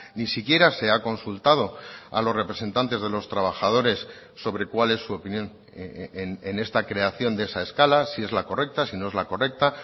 ni siquiera se ha consultado a los representantes de los trabajadores sobre cuál es su opinión en esta creación de esa escala si es la correcta si no es la correcta